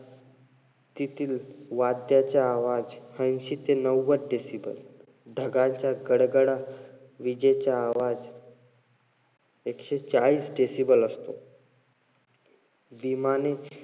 तीतील वाड्याचा आवाज ऐंशी ते नव्वद decible. ढगांच्या गडगड, विजेचा आवाज एकशे चाळीस decible असतो. विमाने,